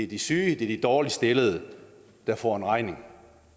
de syge de dårligst stillede der får en regning